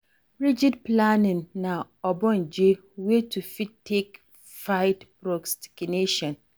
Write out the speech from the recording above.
Rigid planning na ogbonge way to fit take fight procrastination